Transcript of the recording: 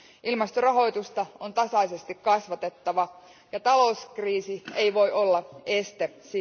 Ilmastorahoitusta on tasaisesti kasvatettava, ja talouskriisi ei voi olla sille esteenä.